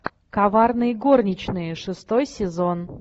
коварные горничные шестой сезон